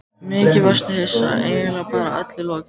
Mikið varstu hissa, eiginlega bara öllum lokið.